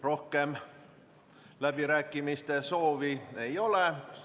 Rohkem läbirääkimiste soovi ei ole.